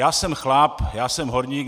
Já jsem chlap, já jsem horník.